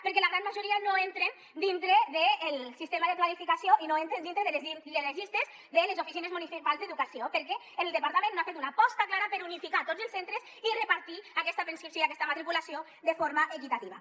perquè la gran majoria no entren dintre del sistema de planificació i no entren dintre de les llistes de les oficines municipals d’educació perquè el departament no ha fet una aposta clara per unificar tots els centres i repartir aquesta preinscripció i aquesta matriculació de forma equitativa